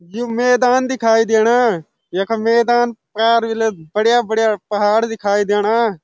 यु मैदान दिखाई देणा यखा मैदान पार बढ़िया-बढ़िया पहाड़ दिखाई देणा।